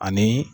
Ani